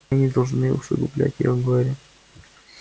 мы не должны усугублять её горе